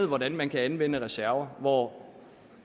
hvordan man kan anvende reserver hvor